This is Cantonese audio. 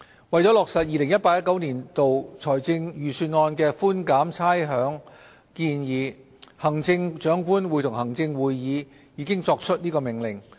為落實 2018-2019 年度財政預算案的寬減差餉建議，行政長官會同行政會議已作出《命令》。